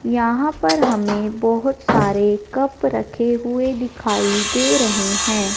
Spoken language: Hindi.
यहां पर हमे बहोत सारे कप रखे हुए दिखाई दे रहे है।